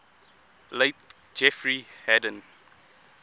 late jeffrey hadden